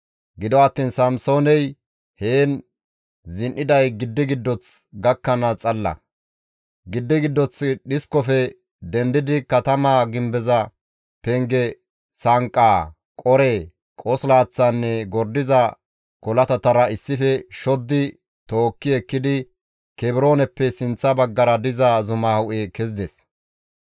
Gido attiin Samsooney heen zin7iday giddi giddoth gakkanaas xalla; giddi giddoth dhiskofe dendidi katamaa gimbeza penge sanqqaa, qore, qosilaththaanne gordiza kolatatara issife shoddi tookki ekkidi Kebrooneppe sinththa baggara diza zuma hu7e kezides.